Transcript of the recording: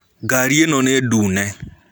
Garĩ ĩno nĩ ndũne.